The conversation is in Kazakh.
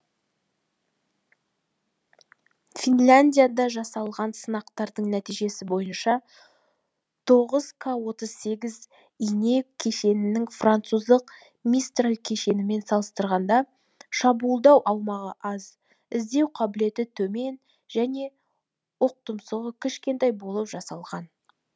финляндияда жасалған сынақтардың нәтижесі бойынша тоғыз к отыз сегіз ине кешенінің француздық мистарль кешенімен салыстырғанда шабуылдау аумағы аз іздеу қабілеті төмен және оқтұмсығы кішкентай болып жасалған